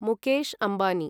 Mukesh Ambani